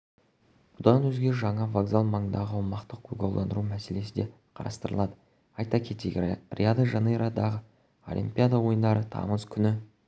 бұдан өзге жаңа вокзал маңындағы аумақты көгалдандыру мәселесі де қарастырылады айта кетейік рио-де-жанейродағыолимпиада ойындары тамыз күні